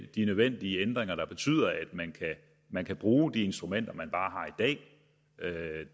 de nødvendige ændringer der betyder at man kan bruge de instrumenter man